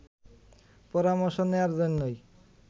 পরামর্শ নেয়ার জন্যই